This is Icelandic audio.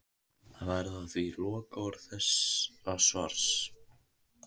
Það verða því lokaorð þessa svars.